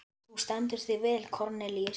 Þú stendur þig vel, Kornelíus!